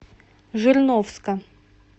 жирновска